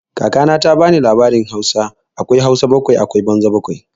Kaka na ta ba ni labarin tarihin Hausa, akwai Hausa bakwai akwai banza bakwai.